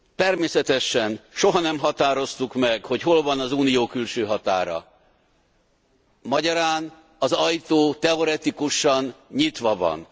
Természetesen soha nem határoztuk meg, hogy hol van az Unió külső határa, magyarán az ajtó teoretikusan nyitva van.